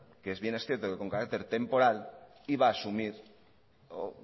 que bien es cierto que con carácter temporal iba a asumir o